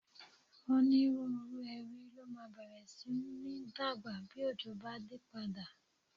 Onírúurú ewé ló máa bẹ̀rẹ̀ sí ní dàgbà bí òjò bá dé padà